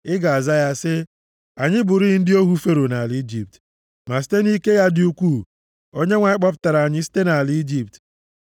Ị ga-aza ya sị, “Anyị bụrị ndị ohu Fero nʼala Ijipt, ma site nʼike ya dị ukwuu, Onyenwe anyị kpọpụtara anyị site nʼala Ijipt.